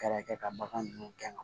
Kɛrɛfɛ ka bagan ninnu gɛn